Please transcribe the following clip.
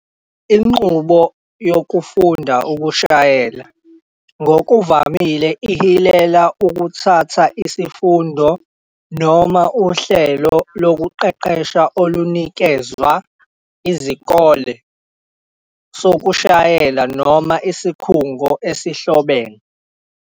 Inqubo yokufunda ukushayela ngokuvamile ihilela ukuthatha isifundo noma uhlelo lokuqeqesha olunikezwa isikole sokushayela noma isikhungo esihlobene.